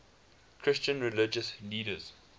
christian religious leaders